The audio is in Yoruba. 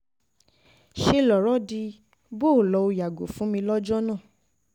ṣe lọ̀rọ̀ di bó um o lọ o yàgò fún mi um lọ́jọ́ náà